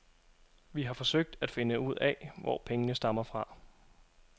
Vi har forsøgt at finde ud af, hvor pengene stammer fra.